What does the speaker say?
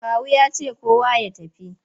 Kawu ya ce kowa ya tafi!